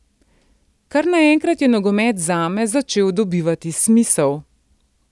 Kar naenkrat je nogomet zame začel dobivati smisel.